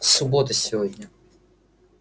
суббота сегодня